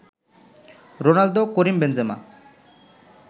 Ronaldo, Karim Benzema